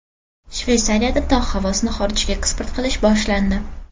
Shveysariyada tog‘ havosini xorijga eksport qilish boshlandi.